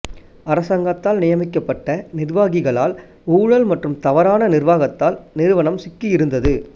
அரசாங்கத்தால் நியமிக்கப்பட்ட நிர்வாகிகளால் ஊழல் மற்றும் தவறான நிர்வாகத்தால் நிறுவனம் சிக்கியிருந்தது